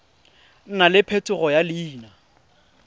nna le phetogo ya leina